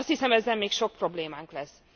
Azt hiszem ezzel még sok problémánk lesz.